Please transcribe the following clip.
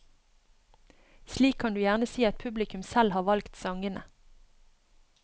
Slik kan du gjerne si at publikum selv har valgt sangene.